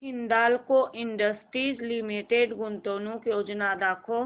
Hindalco industries limited गुंतवणूक योजना दाखव